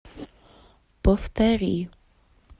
повтори